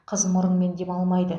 қыз мұрынмен демалмайды